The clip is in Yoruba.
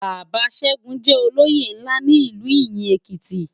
Baba Segun jè ólóyé nlá ni Ilú Iyin Ékiti